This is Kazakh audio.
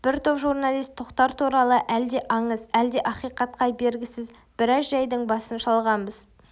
бір топ журналист тоқтар туралы әлде аңыз әлде ақиқатқа бергісіз біраз жайдың басын шалғанбыз